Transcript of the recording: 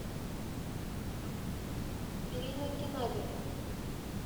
ирина геннадьевна